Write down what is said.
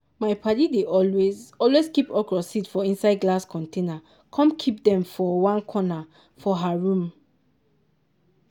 my paddy dey always always keep okra seed for inside glass container com keep dem for onr corner for her room.